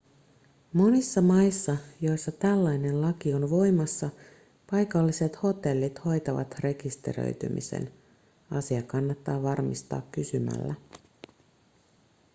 monissa maissa joissa tällainen laki on voimassa paikalliset hotellit hoitavat rekisteröitymisen asia kannattaa varmistaa kysymällä